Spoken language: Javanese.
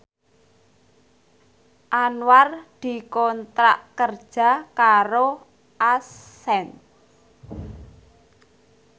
Anwar dikontrak kerja karo Accent